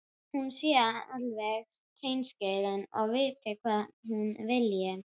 Hún sé alveg hreinskilin og viti hvað hún vilji.